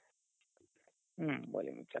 ಹಮ್ bowling ವಿಚಾರ